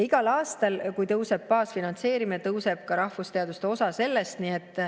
Igal aastal, kui tõuseb baasfinantseerimine, tõuseb ka rahvusteaduste osa selles.